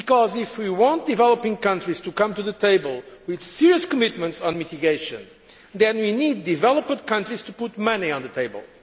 If we want developing countries to come to the table with serious commitments on mitigation, then we need developed countries to put money on the table.